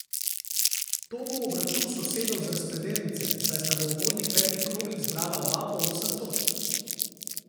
To bo obračun sosedov z razpredelnice, saj sta v uvodnih petih krogih zbrala oba po osem točk.